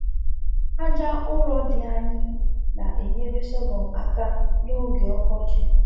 AJa urọ dị anyị na enyere sọgụm aka n'oge ọkọchị